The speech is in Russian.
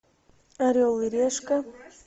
орел и решка